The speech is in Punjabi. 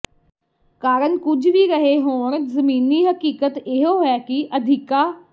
ਕਾਰਨ ਕੁਝ ਵੀ ਰਹੇ ਹੋਣ ਜ਼ਮੀਨੀ ਹਕੀਕਤ ਇਹੋ ਹੈ ਕਿ ਅਧਿਕਾ